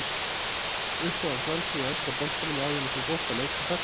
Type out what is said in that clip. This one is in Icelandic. Uppáhaldslið í enska boltanum áður en að þú fórst að leika þar?